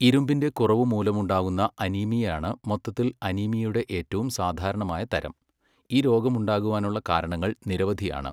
ഇരുമ്പിന്റെ കുറവ് മൂലമുണ്ടാകുന്ന അനീമിയയാണ് മൊത്തത്തിൽ അനീമിയയുടെ ഏറ്റവും സാധാരണമായ തരം, ഈ രോഗമുണ്ടാകുവാനുള്ള കാരണങ്ങൾ നിരവധിയാണ്.